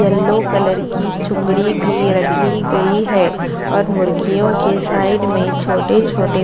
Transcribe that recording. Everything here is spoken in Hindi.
येलो कलर की चूंगड़ी भी रखी गई है और मुर्गियों के साइड में छोटे छोटे--